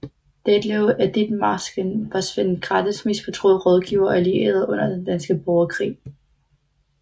Detlev af Ditmarsken var Svend Grathes mest betroede rådgiver og allierede under Den danske Borgerkrig